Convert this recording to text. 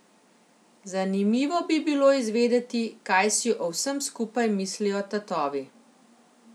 Zanimivo bi bilo izvedeti, kaj si o vsem skupaj mislijo tatovi.